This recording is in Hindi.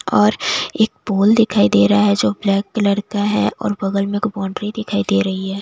और एक पोल दिखाई दे रहा है जो ब्लैक कलर का है और बगल में एक बॉउंड्री रही दिखाई दे रही है।